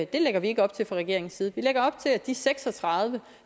det lægger vi ikke op til fra regeringens side vi lægger op til at de seks og tredive